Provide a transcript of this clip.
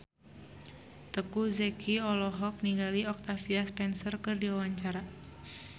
Teuku Zacky olohok ningali Octavia Spencer keur diwawancara